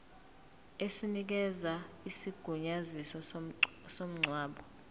esinikeza isigunyaziso somngcwabo